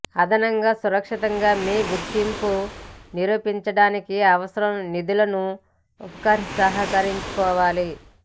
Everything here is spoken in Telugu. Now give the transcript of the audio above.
అదనంగా సురక్షితంగా మీ గుర్తింపుని నిరూపించడానికి అవసరం నిధులను ఉపసంహరించుకోవాలని